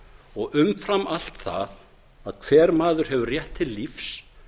og umfram allt það að hver maður hefur rétt til lífs